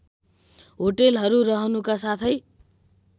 होटलहरू रहनुका साथै